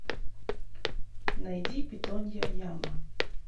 найди питонья яма